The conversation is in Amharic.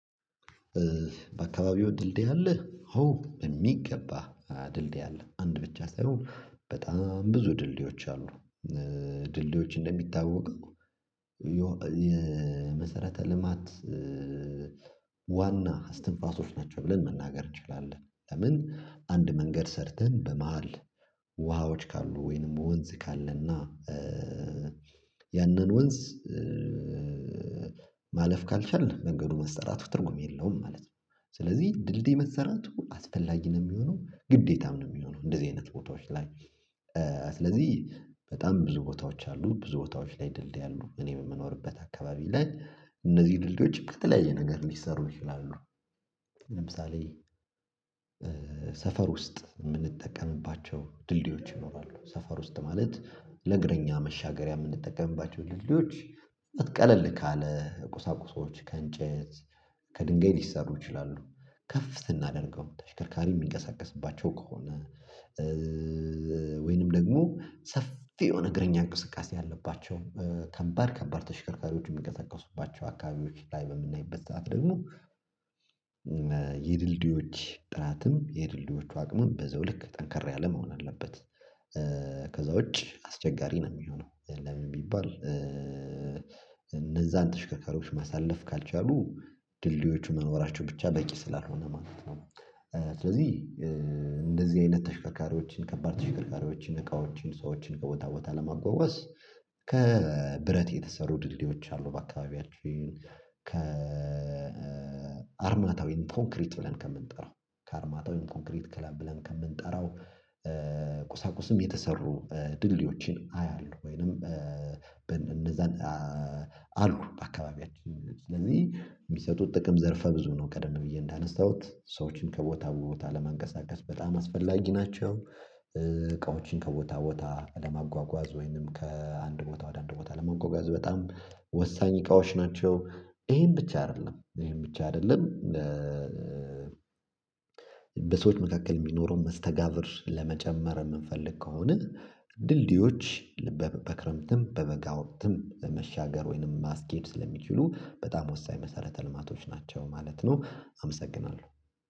በአካባቢው ድልድይ አለ አዎ በሚገባ ድልድይ አለ አንድ ብቻ ሳይሆን በጣም ብዙ ድልድዮች አሉ። ድልድዮች እንደሚታወቀው የመሰረተ ልማት ዋና አስተንፋሾች ናቸው ብለን መናገር እንችላለን። ለምን አንድ መንገድ ሰርተን በመሃል ውሃዎች ካሉ ወይንም ወንዝ ካለና ያንን ወንዝ ማለፍ ካልቻልን መንገዱ መስጠራቱ ትርጉም የለውም ማለት ነው። ስለዚህ ድልድይ መሰረቱ አስፈላጊ ነው የሚሆነው ግዴታም ነው የሚሆነው እንደዚህ አይነት ቦታዎች ላይ። ስለዚህ በጣም ብዙ ቦታዎች አሉ ብዙ ቦታዎች ላይ ድልድይ አሉ። እኔ በመኖርበት አካባቢ ላይ እነዚህን ድልድዮች ከተለያየ ነገር ሊሰሩ ይችላሉ። ለምሳሌ ሰፈር ውስጥ የምንጠቀምባቸው ድልድዮች ይኖራሉ። ሰፈር ውስጥ ማለት ለእግረኛ መሻገሪያ የምንጠቀምባቸው ድልድዮች ቀለል ካለ ቁሳቁሶች ከእንጨት ከድንጋይ ሊሰሩ ይችላሉ። ከፍ ስናደርገው ተሽከርካሪ የሚንቀሳቀስባቸው ከሆነ ወይንም ደግሞ ሰፊ የሆነ እግረኛ እንቅስቃሴ ያለባቸው ከባድ ከባድ ተሽከርካሪዎች የሚቀሰቅሱባቸው አካባቢዎች ላይ በምናይበት ሰዓት ደግሞ የድልድዮች ጥራትም የድልድዮቹ አቅምም በዛውልክ ጠንከር ያለ መሆን አለበት። ከዛ ውጪ አስቸጋሪ ነው የሚሆነው ለምን የሚባል ቢባል? እነዛን ተሽከካሪዎች ማሳለፍ ካልቻሉ ድልድዮቹ መኖራቸው ብቻ በቂ ስላልሆነ ማለት ነው። ስለዚህ እንደዚህ አይነት ተሽከርካሪዎችን ከባድ ተሽከርካሪዎችን እቃዎችን ሰዎችን ከቦታ ቦታ ለማጓጓዝ ከብረት የተሰሩ ድልድዮች አሉ በአካባቢያችን። ከ አርማታዊ ኮንክሪት ብለን ከምንጠራው ከአርማታዊ ኮንክሪት ክለብ ብለን ከምንጠራው ቁሳቁስም የተሰሩ ድልድዮዎችን አያለሁ። ወይንም አሉ በአካባቢያችን ስለዚህ የሚሰጡት ጥቅም ዘርፈ ብዙ ነው። ቀደም ብዬ እንዳነሳሁት ሰዎችን ከቦታ ቦታ ለማንቀሳቀስ በጣም አስፈላጊ ናቸው። እቃዎችን ከቦታ ቦታ ለማጓጓዝ ወይንም ከአንድ ቦታ ወደ አንድ ቦታ ለማጓጓዝ በጣም ወሳኝ እቃዎች ናቸው። ይሄን ብቻ አይደለም ይሄን ብቻ አይደለም። በሰዎች መካከል የሚኖረውን መስተጋብር ለመጨመር የምንፈልግ ከሆነ ድልድዮች ልበ በክረምትም በበጋውም ትምብ በመሻገር ወይንም ማስኬድ ስለሚችሉ በጣም ወሳኝ መሰረተ ልማቶች ናቸው። ማለት ነው አመሰግናለሁ።